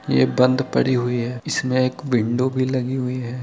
ये बंद पड़ी हुई है इसमे एक विंडो भी लगी हुई है।